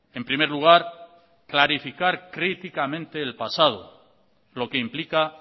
en primer lugar clarificar críticamente el pasado lo que implica